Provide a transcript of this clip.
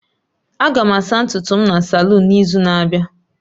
Aga m asa ntutu m na salun n'izu na-abịa